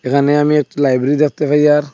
এখানে আমি একটি লাইব্রেরি দেখতে পাই আর--